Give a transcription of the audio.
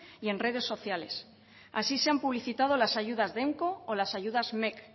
y en redes sociales así se han publicitado las ayudas o las ayudas mec